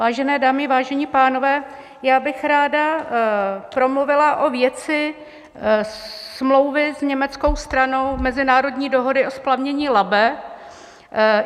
Vážené dámy, vážení pánové, já bych ráda promluvila o věci smlouvy s německou stranou, mezinárodní dohody o splavnění Labe.